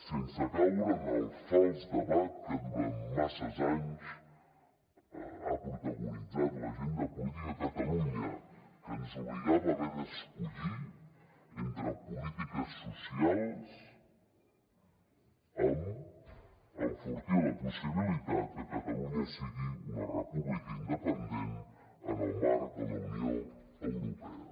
sense caure en el fals debat que durant massa anys ha protagonitzat l’agenda política a catalunya que ens obligava a haver d’escollir entre polítiques socials i enfortir la possibilitat que catalunya sigui una república independent en el marc de la unió europea